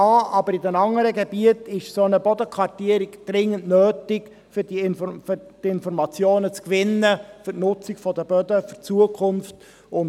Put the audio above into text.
Eine solche Bodenkartierung ist aber auch in den anderen Gebieten dringend notwendig, um Informationen zu gewinnen und eine gute Nutzung der Böden in Zukunft sicherzustellen.